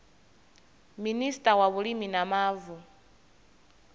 minista wa vhulimi na mavu